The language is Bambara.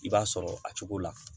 I b'a sɔrɔ a cogo la